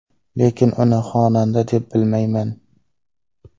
Lekin uni xonanda deb bilmayman.